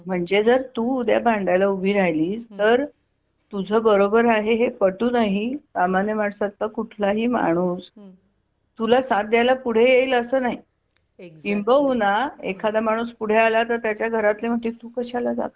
जर तू उद्या भांडायला उभी राहिलीस तर तुझा बरोबर आहे हे पटवून ही सामान्य माणसातला कुठला ही माणूस तुला साथ द्यायला पुढे येईल असं नाही किंबहुना एखादा माणूस पुढे आला तर त्याच्या घरातली मनातील तू कशाला जातोयस